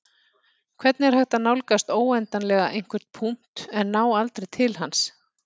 Hvernig er hægt að nálgast óendanlega einhvern punkt en ná aldrei til hans?